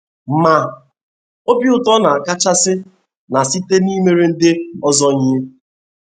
Ma, obi ụtọ na akachasi na site n’imere ndi ọzọ ihe.